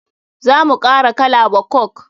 Za mu kara kala wa coke.